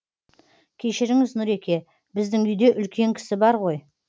кешіріңіз нұреке біздің үйде үлкен кісі бар ғой